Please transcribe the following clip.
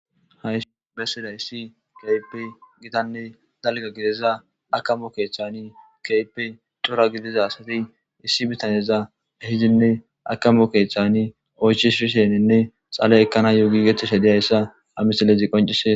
Ay bessiday issi kaype gitanne dalga gideza akamo keeththani kaype cora gidiza asati issi bitaneza hidinne akamo keeththani oychi shisheninne xale ekkana yo giigeththeshe diyayssa amisalezi qoncise